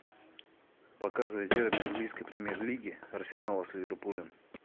показывай дерби английской премьер лиги арсенала с ливерпулем